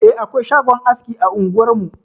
Eh, akwai shagon aski a unguwar mu.